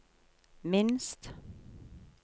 minst